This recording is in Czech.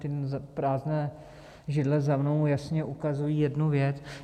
Ty prázdné židle za mnou jasně ukazují jednu věc.